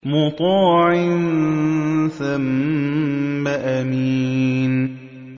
مُّطَاعٍ ثَمَّ أَمِينٍ